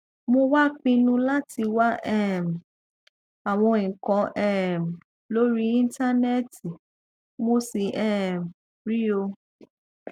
mo wá pinnu láti wá um àwọn nǹkan um lórí íńtánẹẹtì mo sì um rí ọ